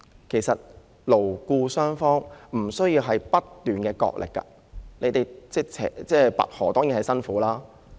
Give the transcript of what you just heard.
其實，勞資雙方不一定要不斷進行角力，這種拔河其實相當辛苦。